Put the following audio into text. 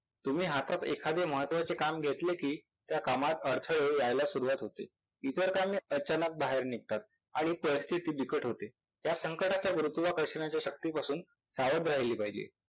तुम्ही हातात एखादे महत्कावाचे काम घेतले कि त्या कामात अडथळे यायला सुरुवात होते. इतर कामे अचानक बाहेर निघतात आणि परिस्थिती बिकट होते. या संकटाच्या गुरुत्वाकर्षणाच्या शक्तीपासून सावध राहिले पाहिजे.